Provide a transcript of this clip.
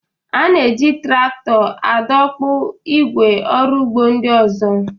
A na-eji traktọ adọkpụ ígwè ọrụ ugbo ndị ọzọ.